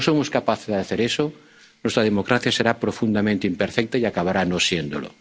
sistema democrático. Si no somos capaces de hacer eso, nuestra democracia será profundamente imperfecta